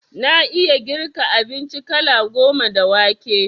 Na iya girka abinci kala goma da wake